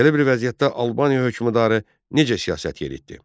Belə bir vəziyyətdə Albaniya hökmdarı necə siyasət yeritdi?